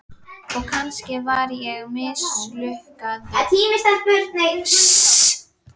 Og kannski var ég mislukkaður frá upphafi.